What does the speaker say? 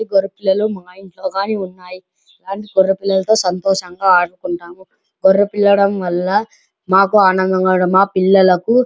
గోరె పిల్లలు మా ఇంట్లోగాని ఉన్నాయి గోరె పిల్లల్లోతో సంతోషంగా ఆడుకుంటాము మాకు ఆనందంగా మా పిల్లల్లకు --